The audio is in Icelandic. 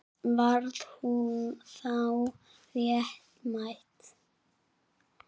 Varð hún þá réttmæt bráð?